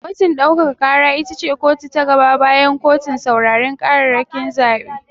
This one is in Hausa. Kotun ɗaukaka ƙara ita ce kotu ta gaba bayan kotun sauraren ƙararrakin zaɓe.